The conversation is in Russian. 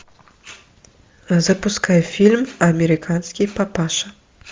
запускай фильм американский папаша